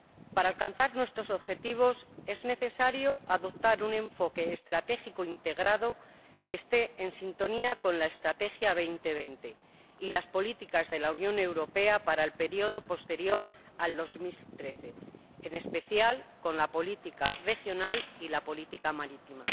Para alcanzar nuestros objetivos es necesario adoptar un enfoque estratégico e integrado que esté en sintonía con la Estrategia Europa 2020 y las políticas de la Unión Europea para el período posterior al 2013, en especial con la política regional y la política marítima.